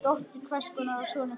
Dóttir hvers og sonur hvers.